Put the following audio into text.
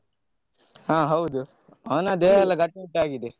ಹ ಹೌದು ಅವನ ದೇಹ ಎಲ್ಲ ಗಟ್ಟಿಮುಟ್ಟಾಗಿದೆ.